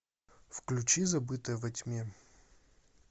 включи забытая во тьме